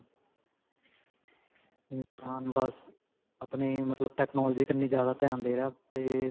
ਇਨਸਾਨ ਬਸ ਆਪਣੇ ਮਤਲਬ technology ਕੰਨੀ ਜਿਆਦਾ ਧਿਆਨ ਦੇ ਰਿਹਾ ਤੇ